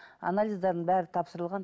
анализдерінің бәрі тапсырылған